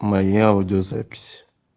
моя аудиозапись